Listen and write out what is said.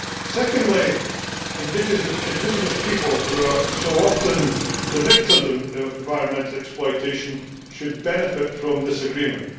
Secondly, indigenous people, who are so often the victims of environmental exploitation, should benefit from this agreement.